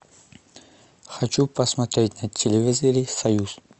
хочу посмотреть на телевизоре союз